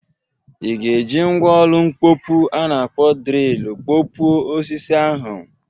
I ga-eji mgwa ọlụ mkpopu a na-akpọ drịlụ pkọpuo osisi ahụ?